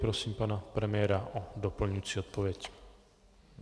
Prosím pana premiéra o doplňující odpověď.